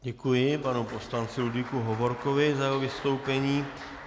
Děkuji panu poslanci Ludvíku Hovorkovi za jeho vystoupení.